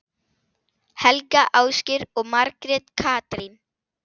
Helga, Ásgeir og Margrét Katrín.